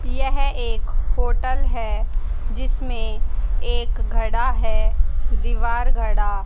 यह एक होटल है जिसमें एक घड़ा है दीवार घड़ा।